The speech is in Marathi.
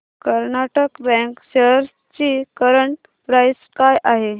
कर्नाटक बँक शेअर्स ची करंट प्राइस काय आहे